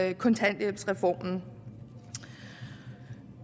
i kontanthjælpsreformen